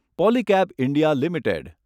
Polycab India limited